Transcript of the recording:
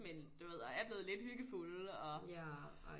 Men en du ved og er blevet lidt hyggefulde og